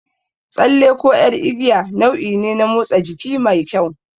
Tsalle ko ƴar igiya nau'i ne na motsa jiki mai kyau.